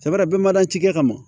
bin man da ci kɛ ka ma